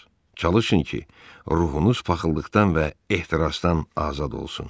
Çalışın ki, ruhunuz paxıllıqdan və ehtirazdan azad olsun.